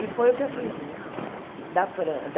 E foi o que eu fiz. Da Fran da